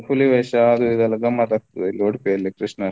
ಹುಲಿವೇಷ ಅದು ಇದು ಎಲ್ಲ ಗಮ್ಮತ್ ಆಗ್ತದೆ ಇಲ್ಲಿ Udupi ಅಲ್ಲಿ.